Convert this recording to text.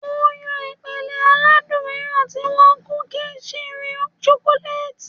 Mo n yan ipele aladun miiran ti awọn kuki chirún chocolate.